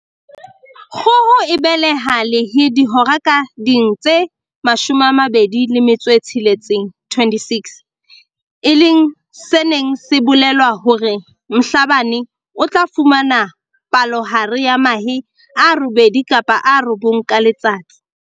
Kgoho e behela lehe dihora ka ding tse 26, e leng se neng se bolela hore Mhlabane o tla fumana palohare ya mahe a robedi kapa a robong ka letsatsi.